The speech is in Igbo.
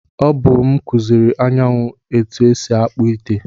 O bu m kuziri Anyanwụ ka esi akpu ite.